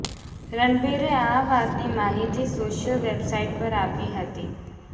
રણબીરે આ વાતની માહિતી સોશિયલ વેબસાઇટ પર આપી હતી